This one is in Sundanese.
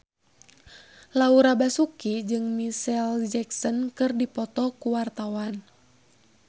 Laura Basuki jeung Micheal Jackson keur dipoto ku wartawan